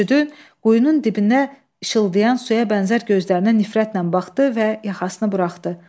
Mürşüd quyunun dibinə ışıldayan suya bənzər gözlərinə nifrətlə baxdı və yaxasını buraxdı.